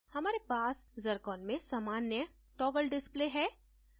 हमारे पास zircon में सामान्य toggle display है